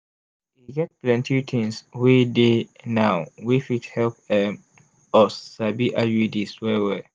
e get plenty things wey dey now wey fit help um us sabi iuds well well.